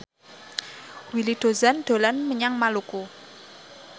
Willy Dozan dolan menyang Maluku